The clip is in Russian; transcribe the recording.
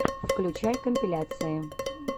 включай компиляции